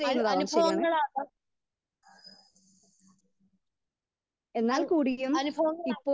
Speaker 1 അനുഭവങ്ങൾ ആവാം അ അനുഭവങ്ങൾ ആവാം.